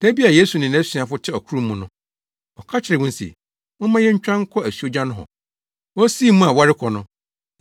Da bi a Yesu ne nʼasuafo te ɔkorow mu no, ɔka kyerɛɛ wɔn se, “Momma yentwa nkɔ asuogya nohɔ.” Wosii mu a wɔrekɔ no,